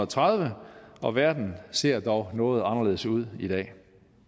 tredive og verden ser dog noget anderledes ud i dag